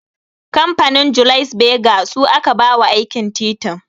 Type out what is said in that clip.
Kamfanin 'Julius Berger' su aka ba wa aikin titin